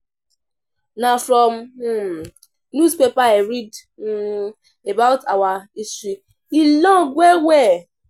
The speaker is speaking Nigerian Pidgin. Na from um newspaper I read um about our history, e long well-well.